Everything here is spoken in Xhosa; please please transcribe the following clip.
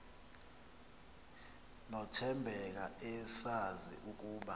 nothembeka esazi ukuba